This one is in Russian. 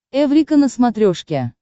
эврика на смотрешке